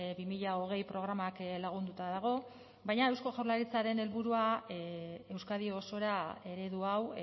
bi mila hogei programak lagunduta dago baina eusko jaurlaritzaren helburua euskadi osora eredu hau